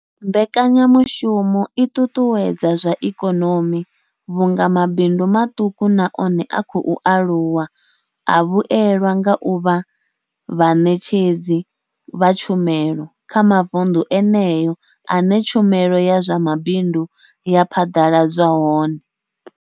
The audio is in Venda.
Mbekanya mushumo i ṱuṱuwedza zwa ikonomi vhunga mabindu maṱuku na one a khou aluwa a vhuelwa nga u vha vhaṋetshedzi vha tshumelo kha mavundu eneyo ane tshumelo ya zwa mabindu ya phaḓaladzwa hone.